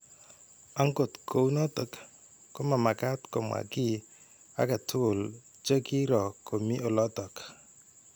Angot kounotok komamagaat komwa ki age tuguul chegiiro komii olotok.